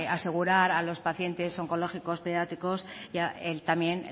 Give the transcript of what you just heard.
asegurar a los pacientes oncológicos pediátricos también